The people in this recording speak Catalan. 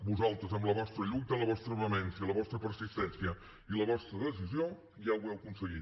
vosaltres amb la vostra lluita la vostra vehemència la vostra persistència i la vostra decisió ja ho heu aconseguit